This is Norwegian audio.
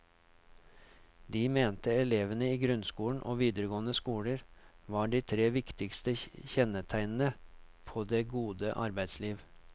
Det mente elevene i grunnskolen og videregående skole var de tre viktigste kjennetegnene på det gode arbeidsliv.